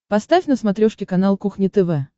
поставь на смотрешке канал кухня тв